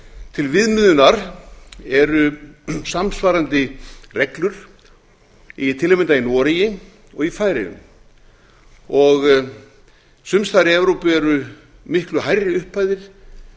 til viðmiðunar eru samsvarandi reglur til að mynda í noregi og í færeyjum sums staðar í evrópu eru miklu hærri upphæðir